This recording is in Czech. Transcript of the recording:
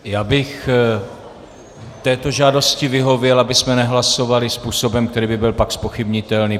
Já bych této žádosti vyhověl, abychom nehlasovali způsobem, který by byl pak zpochybnitelný.